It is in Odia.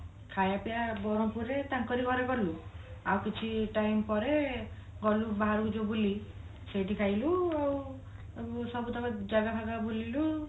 ଖାଇୟା ପିୟା ବ୍ରହ୍ମପୁର ରେ ତାଙ୍କରି ଘରେ କଲୁ ଆଉ କିଛି time ପରେ ଗଲୁ ବାହାରକୁ ଯୋଉ ବୁଲି ସେଇଠି ଖାଇଲୁ ଆଉ ସବୁତକ ଜାଗା ଫଗା ବୁଲିଲୁ